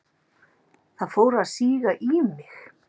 Það fór að síga í mig.